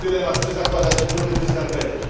To jest dylemat, czy zakładać buty, czy skarpetki.